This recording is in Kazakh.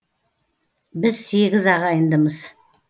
біз сегіз ағайындымыз